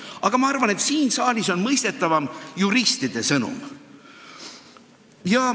Aga ma arvan, et siin saalis on mõistetavam juristide sõnum.